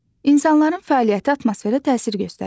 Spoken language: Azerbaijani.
İnsanların fəaliyyəti atmosferə təsir göstərir.